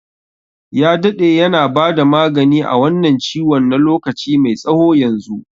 Ya daɗe yana bada magani a wannan ciwon na lokaci mai tsawo yanzu.